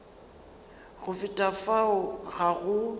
go feta fao ga go